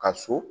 Ka so